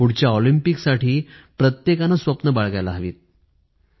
पुढल्या ऑलिम्पिकसाठी प्रत्येकाने स्वप्नं बाळगायला हवीत